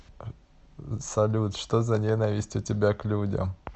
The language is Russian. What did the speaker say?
салют что за ненависть у тебя к людям